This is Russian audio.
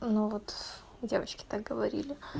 ну вот девочки так говорили